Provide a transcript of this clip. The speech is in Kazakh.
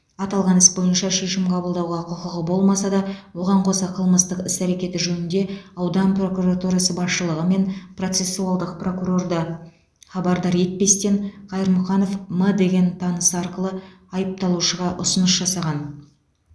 аталған іс бойынша шешім қабылдауға құқығы болмаса да оған қоса қылмыстық іс әрекеті жөнінде аудан прокуратурасы басшылығы мен процессуалдық прокурорда хабардар етпестен қайырмұханов м деген танысы арқылы айыпталушыға ұсыныс жасаған